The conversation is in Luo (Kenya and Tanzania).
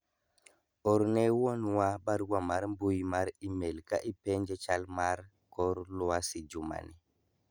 orne wuonwa barua mar mbui mar email ka ipenje chal mar kor lwasi jumani